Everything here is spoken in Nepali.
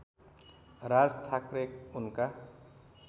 राज ठाकरे उनका